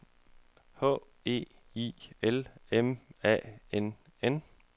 H E I L M A N N